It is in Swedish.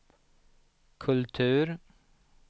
kultur